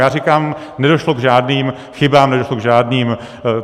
Já říkám, nedošlo k žádným chybám, nedošlo k žádným...